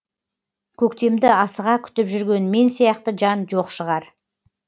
көктемді асыға күтіп жүрген мен сияқты жан жоқ шығар